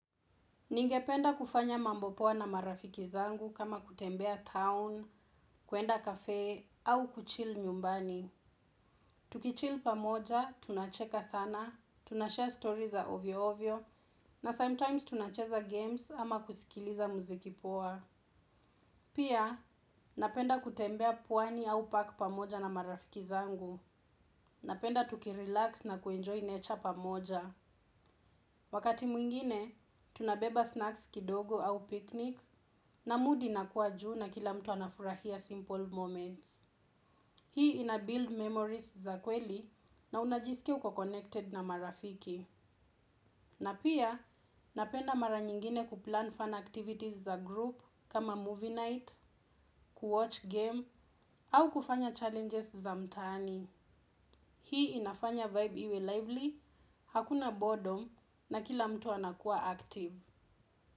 Ningependa kufanya mambo poa na marafiki zangu kama kutembea town kwenda cafe au kuchill nyumbani. Tukichill pamoja, tunacheka sana, tunashare story za ovyo ovyo, na sometimes tunacheza games ama kusikiliza muziki poa. Pia, napenda kutembea pwani au park pamoja na marafiki zangu. Napenda tukirelax na kuenjoy nature pamoja. Wakati mwingine, tunabeba snacks kidogo au picnic na mood inakuwa juu na kila mtu anafurahia simple moments. Hii ina build memories za kweli na unajiskia uko connected na marafiki. Na pia, napenda mara nyingine kuplan fun activities za group kama movie night, kuwatch game au kufanya challenges za mtaani. Hii inafanya vibe iwe lively, hakuna boredom na kila mtu anakuwa active.